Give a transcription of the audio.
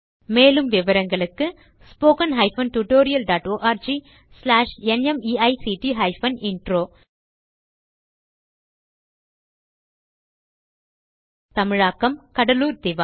மேலும் விவரங்களுக்கு spoken hyphen tutorial dot org slash நிமைக்ட் ஹைபன் இன்ட்ரோ தமிழாக்கம் கடலூர் திவா